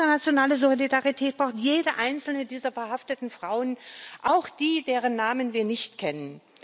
Internationale Solidarität braucht jede einzelne dieser verhafteten Frauen auch die, deren Namen wir nicht kennen.